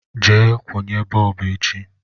Je kwunye bọọbụ echi